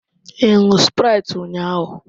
Ị ṅụọ sprite ụnyaahụ?